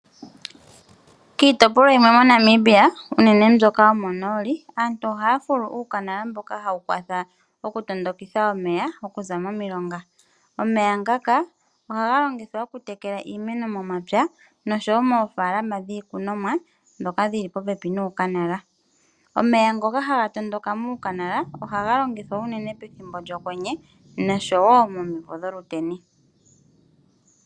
Kiitopolwa yimwe moNamibia unene mbyoka yo monooli, aantu ohaya fulu uukanala mboka hawu kwatha okutondokitha omeya okuza momilonga. Omeya ngaka ohaga longithwa okutekela iimeno momapya noshowo moofaalama dhiikunomwa dhoka dhili popepi nuukanala. Omeya ngoka haga tondoka muukanala, ohaga longithwa unene pethimbo lyokwenye noshowo momimvo dholuteni.